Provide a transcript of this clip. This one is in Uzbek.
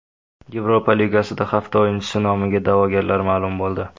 Yevropa Ligasida hafta o‘yinchisi nomiga da’vogarlar ma’lum bo‘ldi.